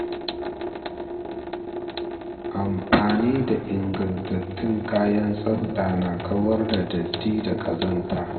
Amafani da ingantattun kayan tsafta na kawar da datti da ƙazanta.